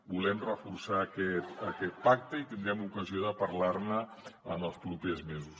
volem reforçar aquest pacte i tindrem ocasió de parlar ne en els propers mesos